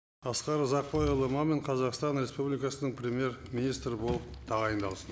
асқар ұзақбайұлы мамин қазақстан республикасының премьер министрі болып тағайындалсын